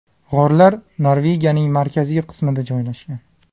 G‘orlar Norvegiyaning markaziy qismida joylashgan.